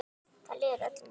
Þar líður öllum vel.